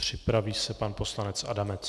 Připraví se pan poslanec Adamec.